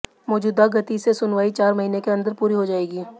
मौजूदा गति से सुनवाई चार महीने के अंदर पूरी हो जाएगी